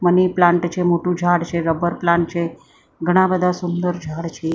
Money plant છે મોટું ઝાડ છે રબર પ્લાન્ટ છે ઘણા બધા સુંદર ઝાડ છે.